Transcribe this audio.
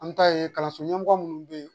An ta ye kalanso ɲɛmɔgɔ minnu bɛ yen